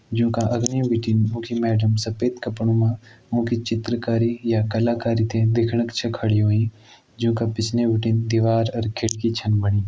ज्युं का अघने बिटिन उ की मेडम सफ़ेद कपड़ों मां उं की चित्रकारी या कलाकारी ते देखणक छ खड़ी हुईं। ज्युंका पिछने बिटिन दिवार अर खिड़की छन बणी।